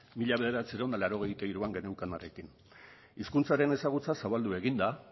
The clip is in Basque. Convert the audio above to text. mila bederatziehun eta laurogeita hiruan geneukanarekin hizkuntzaren ezagutza zabaldu egin da